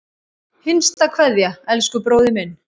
HINSTA KVEÐJA Elsku bróðir minn.